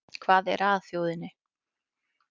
Hvað er að þjóðinni